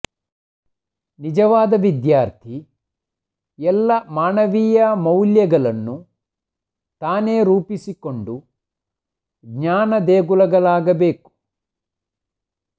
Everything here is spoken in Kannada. ನಿಜವಾದ ವಿದ್ಯಾರ್ಥಿ ಎಲ್ಲ ಮಾನವೀಯ ಮೌಲ್ಯಗಳನ್ನು ತಾನೇ ರೂಪಿಸಿಕೊಂಡು ಜ್ಞಾನದೇಗುಲಗಳಾಗಬೇಕು